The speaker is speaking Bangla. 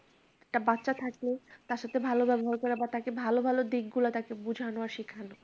একটা বাচ্চা থাকলে তার সাথে ভালো ব্যবহার করা, বা তাকে ভালো-ভালো দিকগুলো তাকে বুঝানো আর শিখানো।